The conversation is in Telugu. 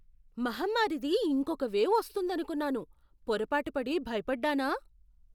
మహమ్మారిది ఇంకొక వేవ్ వస్తోందనుకున్నాను. పొరపాటు పడి భయపడ్డానా?